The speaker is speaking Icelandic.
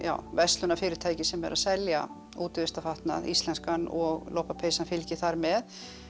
verslunarfyrirtæki sem eru að selja útivistarfatnað íslenskan og lopapeysan fylgir þar með